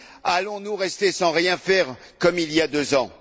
Allons nous rester sans rien faire, comme il y a deux ans?